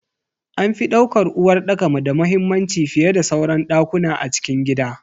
An fi daukar uwarɗaka da muhimmanci fiyeda sauran dakuna a cikin gida.